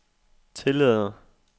tillader